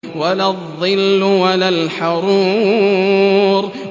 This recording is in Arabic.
وَلَا الظِّلُّ وَلَا الْحَرُورُ